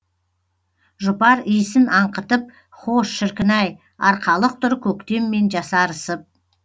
жұпар иісін аңқытып хош шіркін ай арқалық тұр көктеммен жасарысып